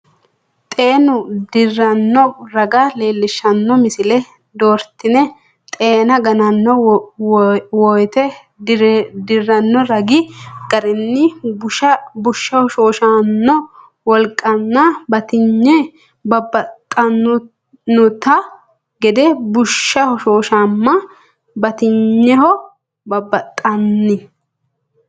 Xeenu dirranno raga leellishshanno misile doortine xeena gananno wote dirranno ragi garinni bushsha hoshooshanno wolqanna batinyi babbaxxannonte gede bushshu hoshooshama batinyino babbaxxan-.